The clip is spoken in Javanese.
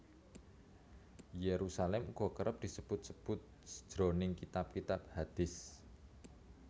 Yerusalem uga kerep disebut sebut jroning kitab kitab hadist